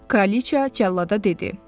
Kraliça cəllada dedi: